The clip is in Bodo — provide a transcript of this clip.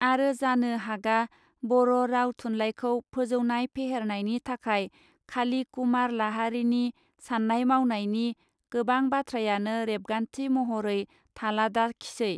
आरो जानो हागा बर राव थुनलाइखौ फोजौनाय फेहेरनायनि थाखाय खाली कुमार लाहारीनि साननाय मावनायनि गोबां बाथ्रायानो रेबगान्थि महरै थालाडाखिसै.